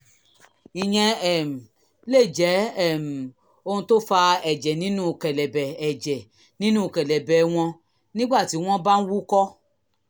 ìyẹn um lè jẹ́ um ohun tó fa ẹ̀jẹ̀ nínú kẹ̀lẹ̀bẹ̀ ẹ̀jẹ̀ nínú kẹ̀lẹ̀bẹ̀ wọn nígbà tí wọ́n bá ń wúkọ́